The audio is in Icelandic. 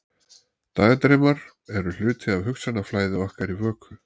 Dagdraumar eru hluti af hugsanaflæði okkar í vöku.